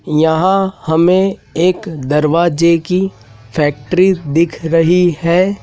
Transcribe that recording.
यहां हमें एक दरवाजे की फैक्ट्री दिख रही है।